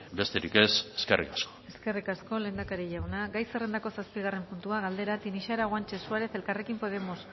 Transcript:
besterik ez eskerrik asko eskerrik asko lehendakari jauna gai zerrendako zazpigarren puntua galdera tinixara guanche suárez elkarrekin podemos